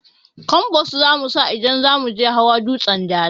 Kambas zamusa idan zamuje hawa dutsen dala